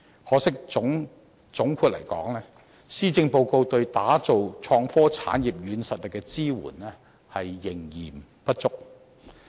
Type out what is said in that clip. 可惜，總括而言，施政報告對打造創科產業"軟實力"的支援，仍嫌不足。